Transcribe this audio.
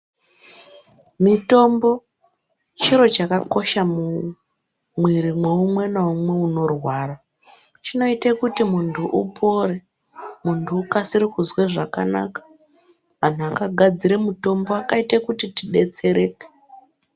Mitombo chiro chakakosha mumuviri mwoumwe naumwe anorwara chinoite kuti muntu upore muntu ukasire kuzwa zvakanaka antu akagadzire mutombo akaita kuti tidetsereke.